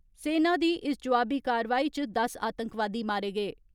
सेना दी इस जोआबी कारवाई च दस आतंकवादी मारे गे।